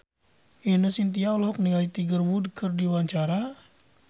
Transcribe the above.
Ine Shintya olohok ningali Tiger Wood keur diwawancara